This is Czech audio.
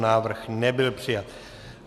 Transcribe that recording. Návrh nebyl přijat.